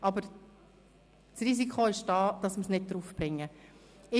Aber das Risiko besteht, dass wir das Geschäft dann nicht unterbringen können.